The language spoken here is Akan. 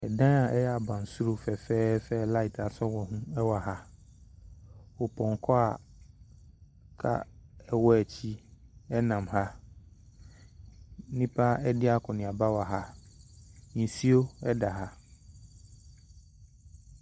Ɛdan abansoro fɛfɛɛfɛ a laate asɔ wɔ ho wɔ ha ɔpɔnkɔ a kaa di akyi nam ha nnipa redi akɔneaba wɔ ha nsuo da ha.